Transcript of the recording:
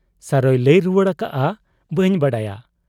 ᱥᱟᱨᱚᱭ ᱞᱟᱹᱭ ᱨᱩᱣᱟᱹᱲ ᱟᱠᱟᱜ ᱟ, 'ᱵᱟᱹᱧ ᱵᱟᱰᱟᱭᱟ ᱾